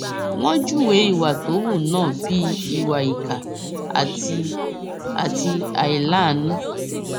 wọn júwe ìwà tó hù náà bíi ìwà ìkà àti àti àìláàánú